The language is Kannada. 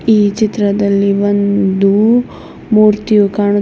ಈ ಚಿತ್ರದಲ್ಲಿ ಒಂದು ಮೂರ್ತಿಯೂ ಕಾಣುತ್ತಿದೆ.